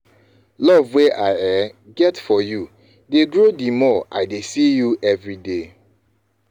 love wey i um get for you dey grow the more i dey see you everyday